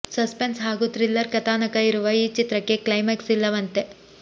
suspense ಹಾಗೂ thriller ಕಥಾನಕ ಇರುವ ಈ ಚಿತ್ರಕ್ಕೆ ಕ್ಲೈಮ್ಯಾಕ್ಸ್ ಇಲ್ಲವಂತೆ